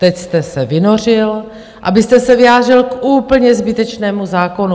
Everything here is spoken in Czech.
Teď jste se vynořil, abyste se vyjádřil k úplně zbytečnému zákonu.